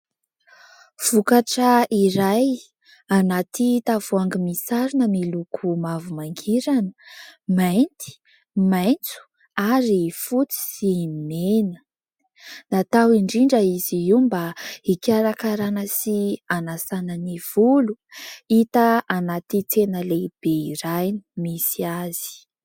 Vokatra iray anaty tavoangy misy sarona miloko mavo mangirana, mainty, maintso ary fotsy sy mena. Natao indrindra izy io mba hikarakarana sy anasana ny volo. Hita anaty tsena lehibe iray ny misy azy.